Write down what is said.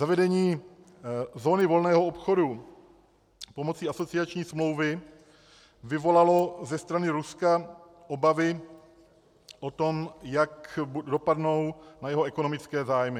Zavedení zóny volného obchodu pomocí asociační smlouvy vyvolalo ze strany Ruska obavy o tom, jak dopadne na jeho ekonomické zájmy.